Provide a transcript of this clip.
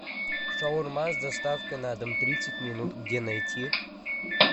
шаурма с доставкой на дом тридцать минут где найти